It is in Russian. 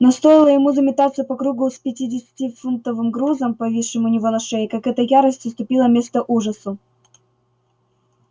но стоило ему заметаться по кругу с пятидесятифунтовым грузом повисшим у него на шее как эта ярость уступила место ужасу